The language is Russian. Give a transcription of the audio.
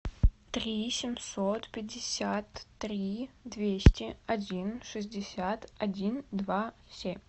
три семьсот пятьдесят три двести один шестьдесят один два семь